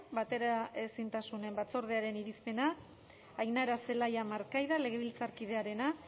bateraezintasun batzordearen irizpena ainara zelaia markaida legebiltzarkidearena